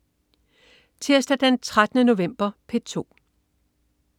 Tirsdag den 13. november - P2: